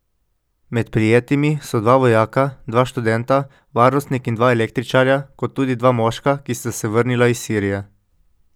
Med prijetimi so dva vojaka, dva študenta, varnostnik in dva električarja, kot tudi dva moška, ki sta se vrnila iz Sirije.